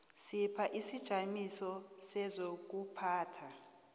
sipha isijamiso sezokuphatha